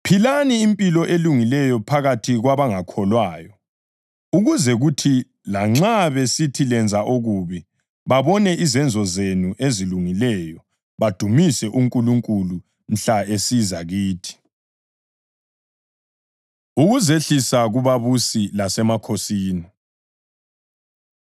Philani impilo elungileyo phakathi kwabangakholwayo ukuze kuthi lanxa besithi lenza okubi, babone izenzo zenu ezilungileyo badumise uNkulunkulu mhla esiza kithi. Ukuzehlisa Kubabusi Lasemakhosini